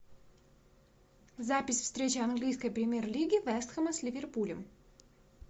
запись встречи английской премьер лиги вест хэма с ливерпулем